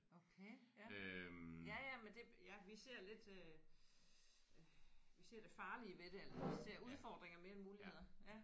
Okay ja. Ja ja men det ja vi ser lidt øh vi ser det farlige ved det eller vi ser udfordringer mere end muligheder ja